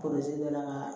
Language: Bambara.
dɔ la